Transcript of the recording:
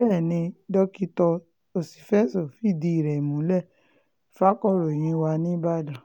bẹ́ẹ̀ ni dr òṣìfẹ̀sọ fìdí ẹ̀ múlẹ̀ fàkọ̀ròyìn wa nìbàdàn